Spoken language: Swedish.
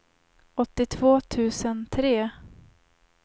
åttiotvå tusen tre